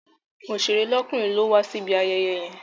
Oṣèré lọ́kùnrin ló wa síbi ayẹyẹ yẹn.